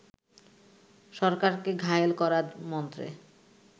সরকারকে ঘায়েল করার মন্ত্রে